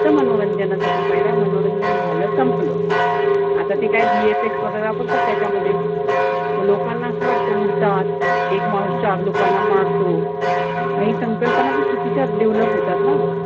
त मनोरंजनासाठी पहिला. मनोरंजन झालं संपलं. आता ते काय VFX वगैरे वापरतात त्याच्यामध्ये. म लोकांना असं वाटत उडतात. एक माणूस चार लोकांना मारतो. काही संकल्पना पण चुकीच्या develop होतात ना.